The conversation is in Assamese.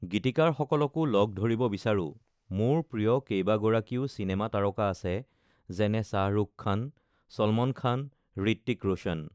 গীতিকাৰসকলকো লগ ধৰিব বিচাৰোঁ মোৰ প্ৰিয় কেইবাগৰাকীও চিনেমা তাৰকা আছে, যেনে শ্বাহৰুখ খান, ছলমন খান, হৃত্বিক ৰোশ্বন